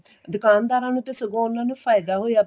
ਦੁਕਾਨਦਾਰਾ ਨੂੰ ਤਾਂ ਸਗੋ ਉਨ੍ਹਾਂ ਨੂੰ ਫਾਇਦਾ ਹੋਇਆ ਪਿਆ